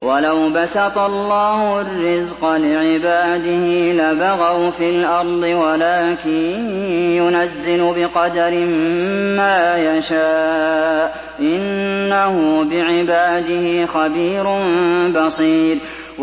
۞ وَلَوْ بَسَطَ اللَّهُ الرِّزْقَ لِعِبَادِهِ لَبَغَوْا فِي الْأَرْضِ وَلَٰكِن يُنَزِّلُ بِقَدَرٍ مَّا يَشَاءُ ۚ إِنَّهُ بِعِبَادِهِ خَبِيرٌ بَصِيرٌ